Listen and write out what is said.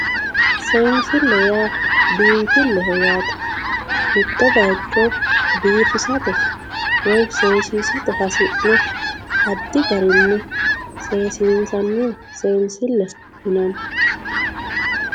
Seensile yaa biinfileho yaate mitto bayicho biifissate woyi seesissate hasi'ne addi garinni seesissani seensile yinanni.